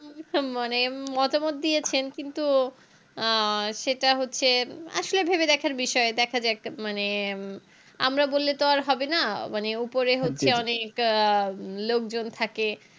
মানে মতামত দিয়েছেন কিন্তু আহ সেটা হচ্ছে উম আসলে ভেবে দেখার বিষয় দেখা যাক একটা মানে আমরা বললে তো আর হবে না মানে উপরে হচ্ছে অনেক আহ লোকজন থাকে